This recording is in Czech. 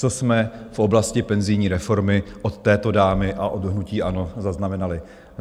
Co jsme v oblasti penzijní reformy od této dámy a od hnutí ANO zaznamenali?